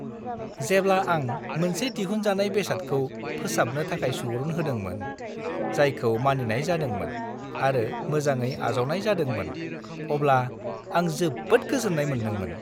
जेब्ला आं मोनसे दिहुनजानाय बेसादखौ फोसाबनो थाखाय सुबुरुन होदोंमोन, जायखौ मानिनाय जादोंमोन आरो मोजाङै आजावनाय जादोंमोन, अब्ला आं जोबोद गोजोन्नाय मोन्दोंमोन।